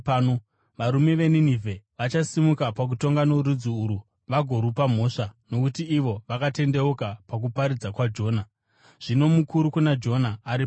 Varume veNinevhe vachasimuka pakutongwa norudzi urwu vagorupa mhosva; nokuti ivo vakatendeuka pakuparidza kwaJona, zvino mukuru kuna Jona ari pano.